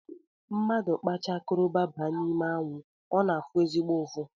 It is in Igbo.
Mmadụ kpacha koroba baa n’ime anwụ ọ na-afụ ezigbo ụfụ